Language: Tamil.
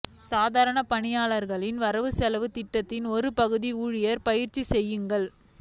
சாதாரண பணியாளர்களின் வரவுசெலவுத் திட்டத்தின் ஒரு பகுதியை ஊழியர் பயிற்சி செய்யுங்கள்